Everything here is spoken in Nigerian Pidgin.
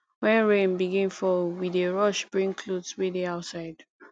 wen rain begin fall we dey rush bring clothes wey dey outside